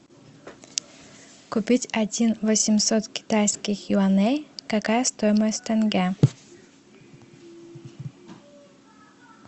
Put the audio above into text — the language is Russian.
купить один восемьсот китайских юаней какая стоимость тенге